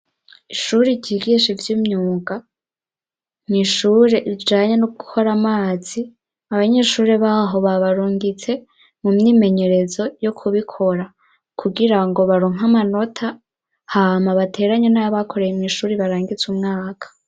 Ishuri ryigisha ivy'imyuga mw'ishuri ijanye no gukora amazi, abanyeshuri baho babarungitse mu myimenyerezo yo kubikora, kugira ngo baronka amanota, hama bateranye n'ayo bakoreye mw'ishuri barangize umwaka.